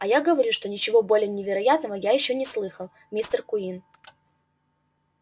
а я говорю что ничего более невероятного я ещё не слыхал мистер куинн